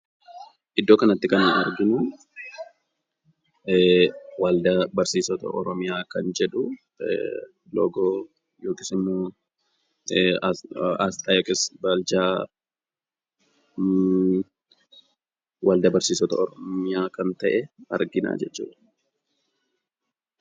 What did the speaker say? Iddoo kanatti kan nuyi arginu, waldaa barsiisota oromiyaa kan jedhu loogoo yookisimmoo aasxaa yookiis baarjaa waldaa barsiisota oromiyaa kan ta'e argina jechuudha.